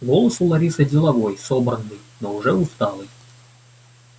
голос у ларисы деловой собранный но уже усталый